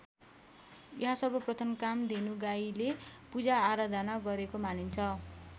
यहाँ सर्वप्रथम कामधेनु गाईले पूजाआराधना गरेको मानिन्छ।